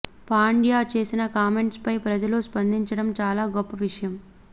పాండ్యా చేసిన కామెంట్స్ పై ప్రజలు స్పందించడం చాలా గొప్ప విషయం